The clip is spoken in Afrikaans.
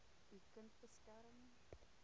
u kind beskerm